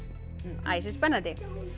æsispennandi